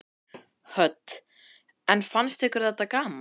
Hödd: En fannst ykkur þetta gaman?